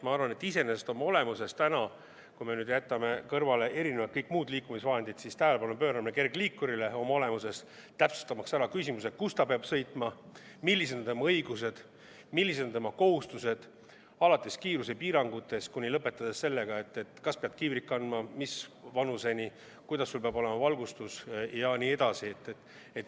Ma arvan, et iseenesest on oluline – kui me jätame kõrvale kõik muud liikumisvahendid – kergliikurile tähelepanu pöörata, täpsustamaks, kus sellega peab sõitma, millised on juhi õigused, millised on tema kohustused alates kiirusepiirangutest ja lõpetades sellega, kas juht peab kiivrit kandma ja mis vanuseni ta seda peab tegema, milline peab olema valgustus ja nii edasi.